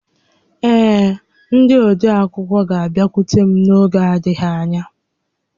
Ee, ndị odeakwụkwọ ga-abịakwute m n'oge adịghị ányá